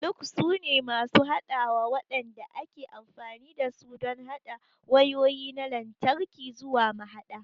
Lugs sune masu haɗawa waɗanda ake amfani da su don haɗa wayoyi na lantarki zuwa mahaɗa.